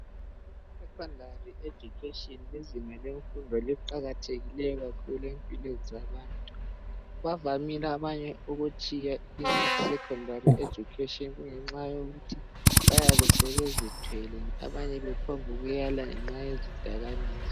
Secondary Education lizinga lefundo eqakathekileyo kakhulu empilweni zabantu. Bavamile abanye ukutshiya isecondary education ngenxa yokuthi bayabe sebezithwele abanye bephonguyala ngenxa yezidakamizwa.